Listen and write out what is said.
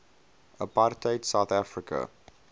apartheid south africa